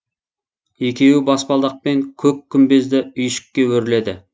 екеуі баспалдақпен көк күмбезді үйшікке өрледі